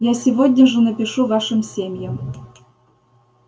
я сегодня же напишу вашим семьям